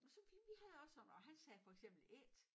Og så vi vi havde også sådan og han sagde for eksempel ét